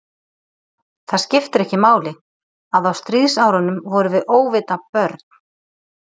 Það skipti ekki máli, að á stríðsárunum vorum við óvita börn.